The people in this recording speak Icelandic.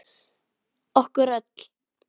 Okkur öll.